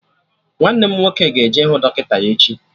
Nwanne m nwoke ga-eje ịhụ dọkịta ya echi